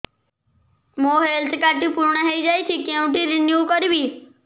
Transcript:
ମୋ health card ଟି ପୁରୁଣା ହେଇଯାଇଛି କେଉଁଠି ରିନିଉ କରିବି